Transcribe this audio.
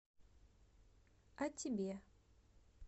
а тебе